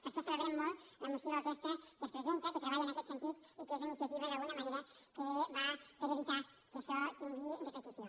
per això celebrem molt la moció aquesta que es presenta que treballa en aquest sentit i que és una iniciativa d’alguna manera que va per evitar que això tingui repetició